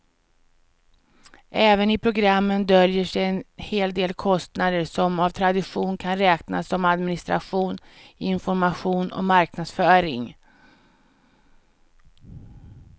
Även i programmen döljer sig en hel del kostnader som av tradition kan räknas som administration, information och marknadsföring.